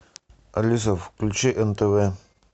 алиса включи нтв